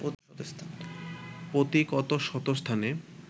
পতি কত শত স্থানে